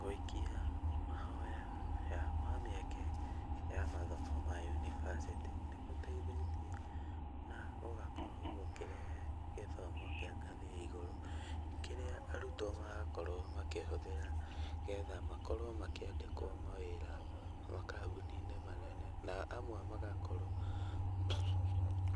Gũikia mahoya mamĩeke ya mathomo ma yunibacĩtĩ nĩ gũteithĩtie na gũgakorwo gũkĩrehe gĩthomo kĩa ngathĩ ya igũrũ, kĩrĩa arutwo marakorwo makĩhũthĩra nĩgetha makorwo makĩandĩkwo mawĩra makambuni-inĩ manene, na amwe magakorwo